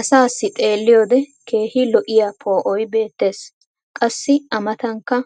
Asaassi xeeliyoode keehi lo'iya poo"oy beetees. qassi a matankka